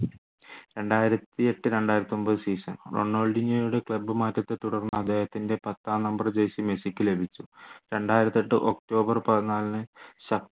രണ്ടായിരത്തിയെട്ടു രണ്ടായിരത്തിയൊമ്പത് sason റൊണാൾഡീഞ്ഞോയുടെ club മാറ്റത്തെ തുടർന്ന് അദ്ദേഹത്തിൻ്റെ പത്താം നമ്പര്‍ jersey മെസ്സിക്കു ലഭിച്ചു രണ്ടായിരത്തിയെട്ട് ഒക്ടോബർ പതിനാലിന്